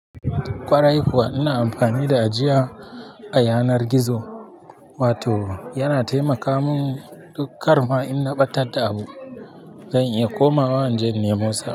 Kwarai kuwa ina amfani da ajiya a yanar gizo wato yana taimaka mun duk kar ma inna ɓatar da abu dan in iya komawa jan nemosa.